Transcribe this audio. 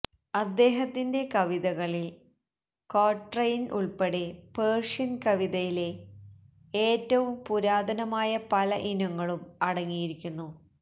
അദ്ദേഹത്തിന്റെ കവിതകളിൽ ക്വാട്രെയിൻ ഉൾപ്പെടെ പേർഷ്യൻ കവിതയിലെ ഏറ്റവും പുരാതനമായ പല ഇനങ്ങളും അടങ്ങിയിരിക്കുന്നു